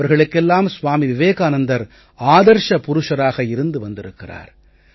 அவர்களுக்கெல்லாம் ஸ்வாமி விவேகானந்தர் ஆதர்ஸ புருஷராக இருந்து வந்திருக்கிறார்